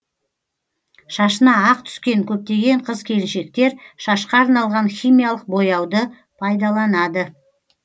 шашына ақ түскен көптеген қыз келіншектер шашқа арналған химиялық бояуды пайдаланады